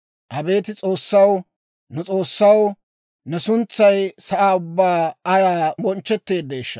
Abeet S'oossaw, nu S'oossaw, ne suntsay sa'aa ubbaan ayaa bonchchetteeddeeshsha!